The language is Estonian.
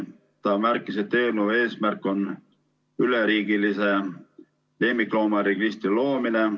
Ta märkis, et eelnõu eesmärk on üleriigilise lemmikloomaregistri loomine.